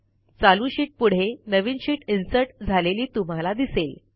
चालू शीटपुढे नवीन शीट इन्सर्ट झालेली तुम्हाला दिसेल